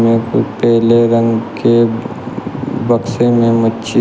यहां पर पेले रंग के बक्से में मच्छी --